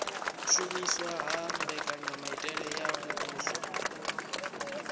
shumiswa ha mbekanyamitele ya muvhuso